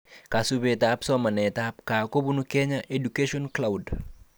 Kasubetab somanetab gaa kobun 'Kenya Education Cloud'